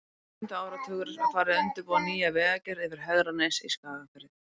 Í lok sjöunda áratugarins var farið að undirbúa nýja vegagerð yfir Hegranes í Skagafirði.